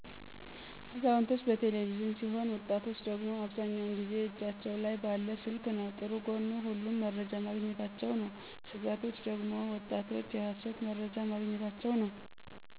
አዛውንቶች በቴለቪዥን ሲሆን ወጣቶች ደግሞ አብዛኛው ጊዜ እጃቸው ላይ ባለ ስልክ ነው። ጥሩ ጎኑ ሁሉም መረጃ ማግኝታቸ ነው። ስጋቶች ደግሞ ወጣቶች የሀሰት መርጃ ማግኝታቸው ነው።